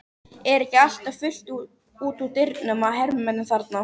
Er ekki alltaf fullt út úr dyrum af hermönnum þarna?